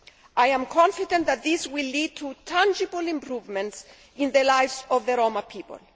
I am confident that this will lead to tangible improvements in the lives of the Roma people.